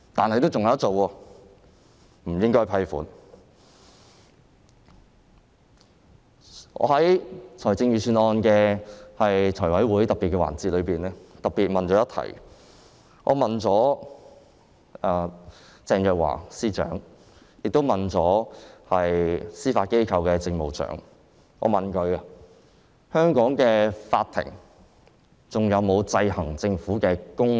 我在審議預算案的財務委員會特別會議中，特別向鄭若驊司長和司法機構政務長提問，香港的法庭還有否制衡政府的功能。